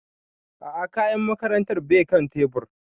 A'a kayan makarantar bai kan tebur